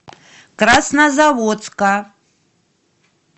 краснозаводска